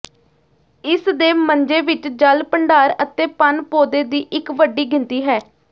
ਇਸ ਦੇ ਮੰਜੇ ਵਿੱਚ ਜਲ ਭੰਡਾਰ ਅਤੇ ਪਣ ਪੌਦੇ ਦੀ ਇੱਕ ਵੱਡੀ ਗਿਣਤੀ ਹੈ